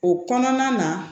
O kɔnɔna na